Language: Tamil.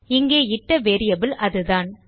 இங்கே இட்ட வேரியபிள் அதுதான்